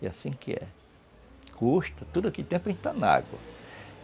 E assim que é. Custa, tudo que tem para entrar na água.